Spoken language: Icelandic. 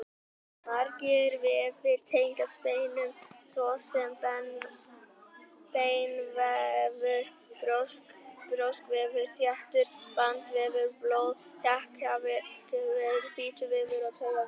Margir vefir tengjast beinum, svo sem beinvefur, brjóskvefur, þéttur bandvefur, blóð, þekjuvefur, fituvefur og taugavefur.